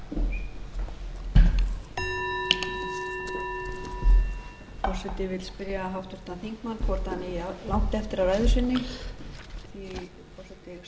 þingmann hvort hann eigi langt eftir af ræðu sinni því að forseta vill gera